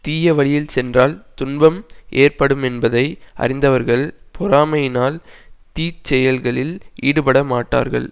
தீய வழியில் சென்றால் துன்பம் ஏற்படுமென்பதை அறிந்தவர்கள் பொறாமையினால் தீச்செயல்களில் ஈடுபடமாட்டார்கள்